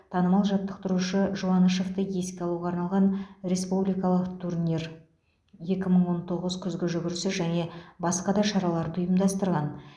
танымал жаттықтырушы жуанышевты еске алуға арналған республикалық турнир екі мың он тоғыз күзгі жүгірісі және басқа да шараларды ұйымдастырған